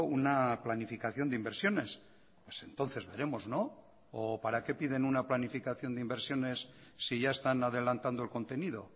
una planificación de inversiones pues entonces veremos no o para qué piden una planificación de inversiones si ya están adelantando el contenido